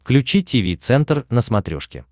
включи тиви центр на смотрешке